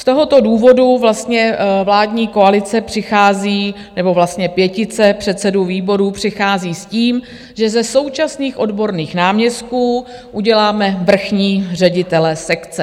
Z tohoto důvodu vlastně vládní koalice přichází, nebo vlastně pětice předsedů výborů přichází s tím, že ze současných odborných náměstků uděláme vrchní ředitele sekce.